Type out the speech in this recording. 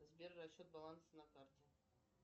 сбер расчет баланса на карте